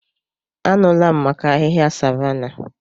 Anụla m maka ahịhịa savanna.